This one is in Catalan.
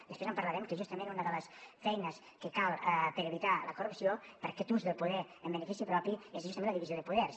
després en parlarem que justament una de les feines que cal per evitar la corrupció per aquest ús del poder en benefici propi és justament la divisió de poders